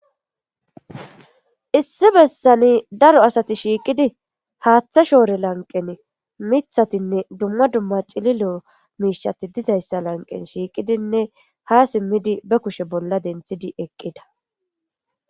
Issi besan daro asati shiqidi haththe shore lanqen mithatinne dumma dumma c'illilo mishati dizaysa lanqen shiqidinne hasimmidi be kushe bolla denthidi eqida.